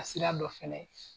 A sira dɔ fɛnɛ